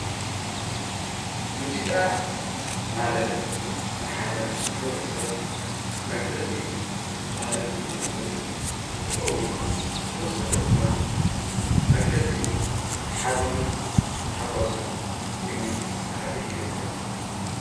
ሙዚቃ ማለት ንሓደ ማሕበረሰብ መግለጺ ባህሉን ማንነቱን እንትኸውን ብተወሳኺ ድማ መግለጺ ሓዘኑን ታሕጓሱን ኮይኑ ከገልግል ይኽእል።